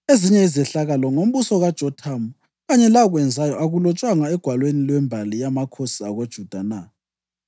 Ezinye izehlakalo ngombuso kaJothamu, kanye lakwenzayo, akulotshwanga egwalweni lwembali yamakhosi akoJuda na?